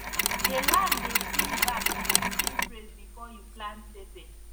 the land dey sing back if you sing praise before you plant pepper